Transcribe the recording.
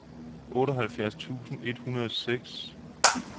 otteoghalvfjerds tusind et hundrede og seks